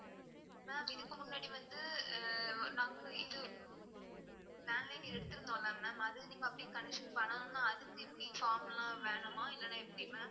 ma'am இதுக்கு முன்னாடி வந்து நாங்களும் இது landline எடுத்துருன்தோம்ல ma'am அதுல நீங்க அப்படியே connection பண்ணனுனா திருப்பி form லாம் வேணுமா எப்படி ma'am